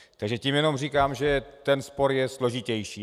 Takže tím jenom říkám, že ten spor je složitější.